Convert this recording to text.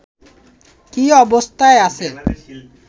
কী অবস্থায় আছে